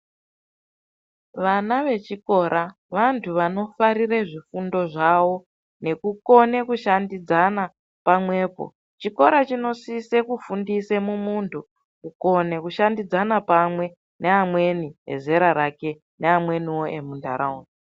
Vana vechikora vantu vanofarire zvifundo zvavo nekukone kushandidzana pamwepo. Chikora chinosise kufundise mumuntu kukone kushandidzana pamwe neamweni ezera rake neamwenivo emuntaraunda.